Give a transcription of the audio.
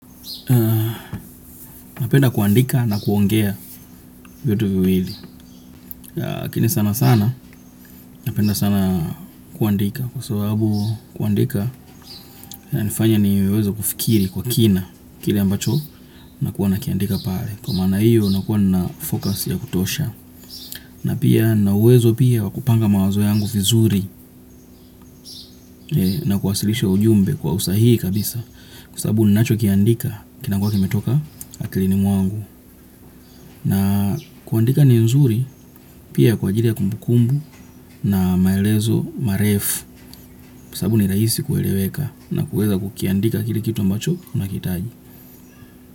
Napenda kuandika na kuongea vyote viwili lakini sana sana. Napenda sana kuandika. Kwa sababu kuandika inanifanya niwewe kufikiri kwa kina. Kile ambacho nakuwa nikiandika pale. Kwa maana hiyo nakuwa na focus ya kutosha. Na pia nina uwezo pia wa kupanga mawazo yangu vizuri. Na kuwasilisha ujumbe kwa usahihi kabisa. Kwa sababu ninachokiandika kinakuwa kimetoka akilini mwangu na kuandika ni nzuri pia kwa ajili ya kumbukumbu na maelezo marefu kwa sababu ni rahisi kueleweka na kuweza kukiandika kile kitu ambacho unahitaji.